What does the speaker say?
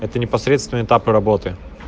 это непосредственно этапы работы